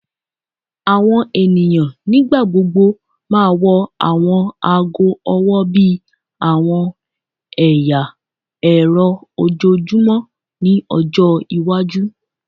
Awọn eniyan nigbagbogbo ma wọ awọn aago ọwọ bi awọn ẹya ẹrọ ojoojumọ ni ọjọ iwaju